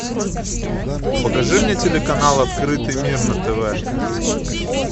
покажи мне телеканал открытый мир на тв